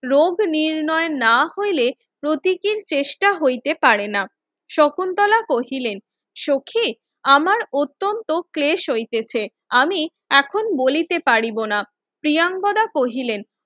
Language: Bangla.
রোগ নির্ণয় না হইলে প্রতিকীর চেষ্টা হইতে পারেনা শকুন্তলা কহিলেন সখি আমার অত্যন্ত ক্লেশ হইতেছে আমি এখন বলিতে পারিব না প্রিয়নগদা কহিলেন